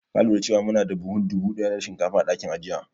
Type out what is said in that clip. Ka lura da cewa muna da buhun dubu ɗaya na shinkafa a dakin ajiya?